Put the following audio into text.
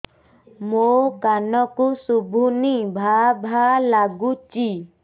ମୋ କାନକୁ ଶୁଭୁନି ଭା ଭା ଲାଗୁଚି